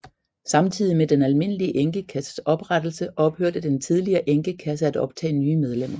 Samtidig med den almindelige enkekasses oprettelse ophørte den tidligere enkekasse at optage nye medlemmer